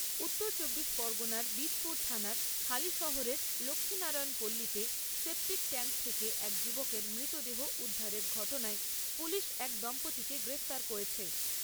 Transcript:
উত্তর চব্বিশ পরগনার বীজপুর থানার হালিশহরের লক্ষীনারায়ন পল্লীতে সেপটিক ট্যাংক থেকে এক যুবকের মৃতদেহ উদ্ধারের ঘটনায় পুলিশ এক দম্পতিকে গ্রেফতার করেছে।